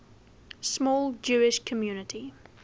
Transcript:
small jewish community